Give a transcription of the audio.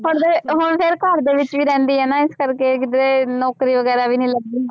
ਹੁਣ ਫਿਰ ਘਰਦੇ ਵਿੱਚ ਹੀ ਰਹਿੰਦੀ ਹੈ ਨਾ ਇਸ ਕਰਕੇ ਕਿਤੇ ਨੌਕਰੀ ਵਗ਼ੈਰਾ ਵੀ ਨੀ ਲੱਗੀ।